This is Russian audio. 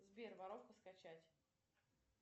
сбер воровка скачать